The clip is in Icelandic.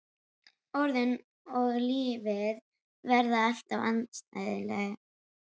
Orðin og lífið verða alltaf andstæðingar.